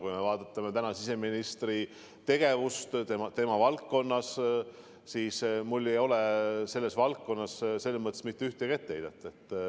Kui vaadata täna siseministri tegevust tema valdkonnas, siis mul ei ole talle selles mõttes mitte ühtegi etteheidet.